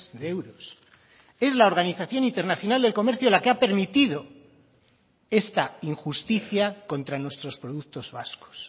de euros es la organización internacional del comercio la que ha permitido esta injusticia contra nuestros productos vascos